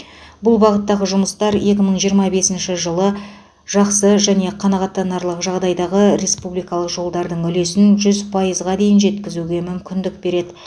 бұл бағыттағы жұмыстар екі мың жиырма бесінші жылы жақсы және қанағаттандырарлық жағдайдағы республикалық жолдардың үлесін жүз пайызға дейін жеткізуге мүмкіндік береді